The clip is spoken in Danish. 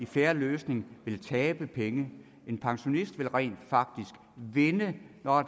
fair løsning vil tabe penge en pensionist vil rent faktisk vinde når